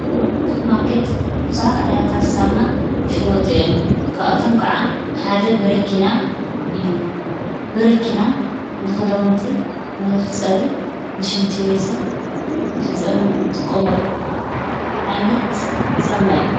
ኣቱር ማርከት ብዙኃት ዓይነታት ዝሳምና ሽወጡ እየም ካኡቶም ከዓ ሓደ ብሪኪና እዩ ብሪኪና ንኽደሙንቲ ኖዘሕ ጸፊ ንሽንቲቤስን ንሕፅብን እንጥቆምኣሉ ዓይነት ሰምና እዩ።